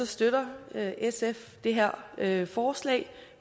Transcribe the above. støtter sf det her her forslag vi